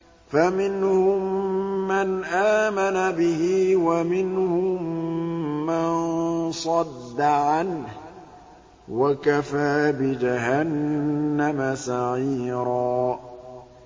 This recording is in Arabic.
فَمِنْهُم مَّنْ آمَنَ بِهِ وَمِنْهُم مَّن صَدَّ عَنْهُ ۚ وَكَفَىٰ بِجَهَنَّمَ سَعِيرًا